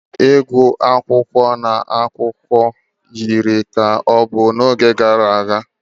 Ịgụ akụkọ na akwụkwọ akụkọ yiri ka ọ bụ n'oge gara aga